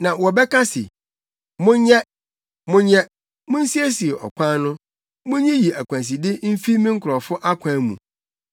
Na wɔbɛka se: “Monyɛ, monyɛ, munsiesie ɔkwan no! Munyiyi akwanside mfi me nkurɔfo akwan mu.”